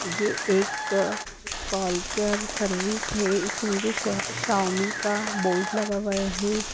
ये एक call car service है इसके नीचे सावमी का बोर्ड लगा हुआ है।